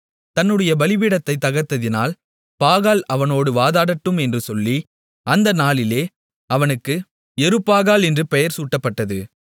தன்னுடைய பலிபீடத்தைத் தகர்த்ததினால் பாகால் அவனோடு வாதாடட்டும் என்று சொல்லி அந்த நாளிலே அவனுக்கு யெருபாகால் என்று பெயர் சூட்டப்பட்டது